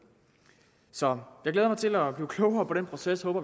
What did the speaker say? så jeg glæder mig til at blive klogere på den proces og